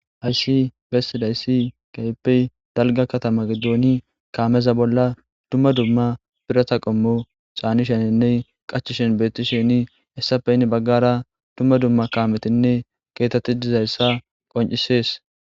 Hayssi besidayssi keehippe dalga kathama giddoni kaameza bola dumma dumma biratha qommo canishenine qachishen beethisheni hessape hena bagara dumma dumma kamethinne keethathi dizayssa qoncisees.